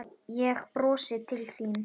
Ég brosi til þín.